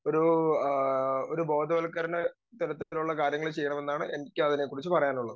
Speaker 2 ഒരു ആഹ് ഒരു ബോധവൽക്കരണ തരത്തിലുള്ള കാര്യങ്ങൾ ചെയ്യണമെന്നാണ് എനിക്ക് അതിനെക്കുറിച്ച് പറയാനുള്ളത്.